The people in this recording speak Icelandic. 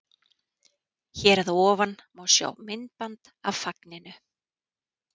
Hér að ofan má sjá myndband af fagninu.